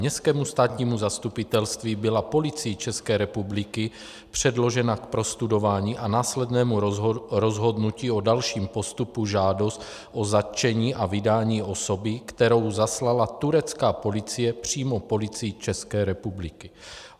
Městskému státnímu zastupitelství byla Policií České republiky předložena k prostudování a následnému rozhodnutí o dalším postupu žádost o zatčení a vydání osoby, kterou zaslala turecká policie přímo Policii České republiky.